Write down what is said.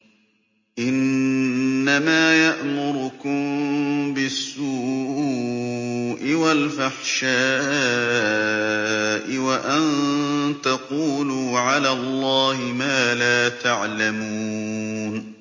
إِنَّمَا يَأْمُرُكُم بِالسُّوءِ وَالْفَحْشَاءِ وَأَن تَقُولُوا عَلَى اللَّهِ مَا لَا تَعْلَمُونَ